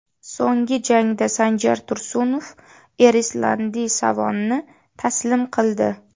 So‘nggi jangda Sanjar Tursunov Erislandi Savonni taslim qildi.